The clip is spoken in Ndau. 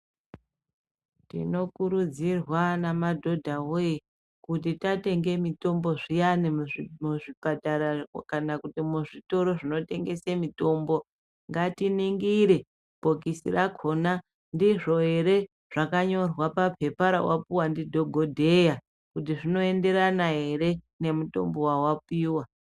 Tinokurudzirwa anamadhodha woye kuti tatenge mitombo zviyani muzvipatara kana kuti muzvitoro zvinotengese mitombo, ngatiningire bhokisi rakona ndizvo ere zvakanyorwa papepa rawapiwa ndikokodheya kuti zvinoenderana ere nemutombo wawapiwa.